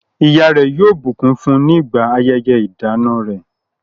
Ìyá rẹ̀ yóò bùkún fún nígbà ayẹyẹ ìdána rẹ̀.